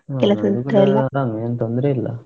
ನಮ್ಗೆನ್ ತೊಂದ್ರೆ ಇಲ್ಲಾ.